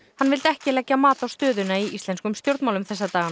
hann vildi ekki leggja mat á stöðuna í íslenskum stjórnmálum þessa dagana